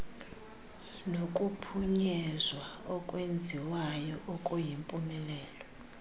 nokuphunyezwa okwenziwayo okuyimpumelelo